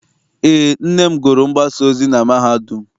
Eé, nne m gụrụ mgbasaozi na mahadum.